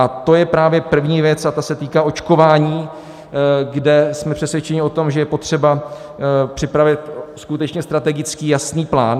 A to je právě první věc a ta se týká očkování, kde jsme přesvědčeni o tom, že je potřeba připravit skutečně strategický jasný plán.